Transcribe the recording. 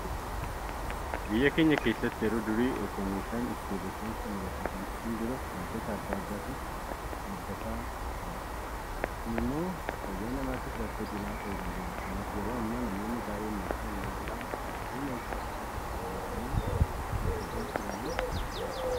Biyya keenya keessatti yeroo durii itoo meeshaan ittiin Rifeensa muratan hindhufin dura waantota adda addaatiin haaddatama ture. Kun immoo fayyaa namaatiif rakkoo cimaa ta'uu danda'eera. Kanaaf yeroo ammaa namoonni baay'een meeshaa ammayyaa'aa humna ibsaatiin hojjetu fayyadamuu edda jalqabanii bubbuleera.